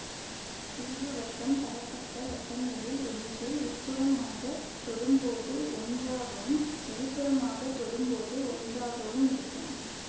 தீர்வு வட்டம் தரப்பட்ட வட்டங்களில் ஒன்றை உட்புறமாகத் தொடும்போது ஒன்றாகவும் வெளிப்புறமாகத் தொடும்போது ஒன்றாகவும் இருக்கும்